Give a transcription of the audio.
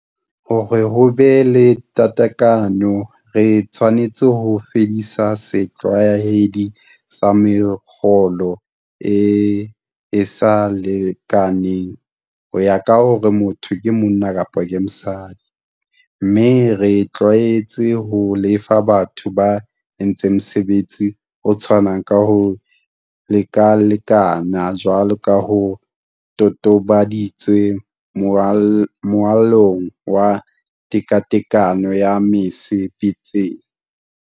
Hore ho be le tekatekano re tshwanetse ho fedisa setlwaedi sa mekgolo e e sa lekalekaneng ho ya ka hore motho ke monna kapa mosadi, mme re itlwaetse ho lefa batho ba entseng mosebetsi o tshwanang ka ho lekalekana jwalo ka ho totobaditswe Molaong wa Tekatekano ya Mese betsing.